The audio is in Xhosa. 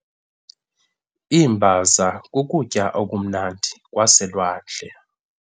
Iimbaza kukutya okumnandi kwaselwandle.